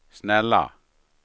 snälla